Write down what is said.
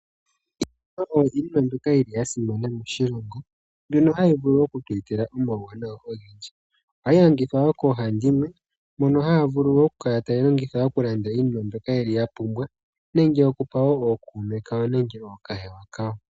Iimaliwa oyo iinima mbyoka ya simana moshilongo mbyono hayi vulu oku tu etela omawuwanawa ogendji. Ohayi longithwa koohandimwe mono haya vulu okukala taya landa iinima mbyoka ye li ya pumbwa, nenge okupa wo ookuume kawo nenge ookahewa kawo.